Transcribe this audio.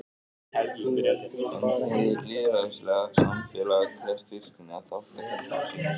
En hið lýðræðislega samfélag krefst virkni af þátttakendum sínum.